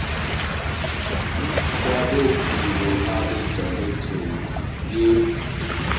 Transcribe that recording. kwabophiko abedirectorate ye